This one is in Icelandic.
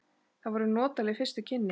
Það voru notaleg fyrstu kynni.